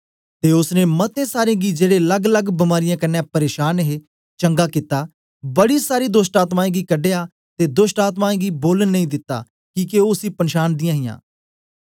ते ओसने मते सारें गी जेड़े लल्गलल्ग बीमारीयें कन्ने परेशांन हे चंगा कित्ता बड़ी सारी दोष्टआत्मायें गी कढया ते दोष्टआत्मायें गी बोलन नेई दिता किके ओ उसी पनछांदी हां